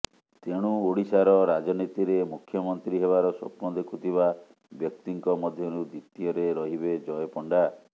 ତେଣୁ ଓଡିଶାର ରାଜନୀତିରେ ମୁଖ୍ୟମନ୍ତ୍ରୀ ହେବାର ସ୍ୱପ୍ନ ଦେଖୁଥିବା ବ୍ୟକ୍ତିଙ୍କ ମଧ୍ୟରୁ ଦ୍ୱିତୀୟରେ ରହିବେ ଜୟ ପଣ୍ଡା